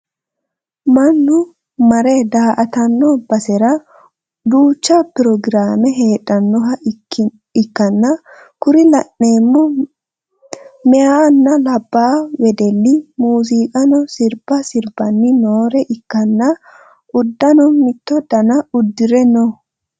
Mannu mare daa"atanno basera duucha programe heedhannoha ikkanna kuri la'neemmo meyaanna labbaa wedelli muuziqaho sirba sirbani noore ikkanna uddano mitto dana uddire no.